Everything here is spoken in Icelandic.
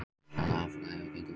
Sala afurða hefur gengið vel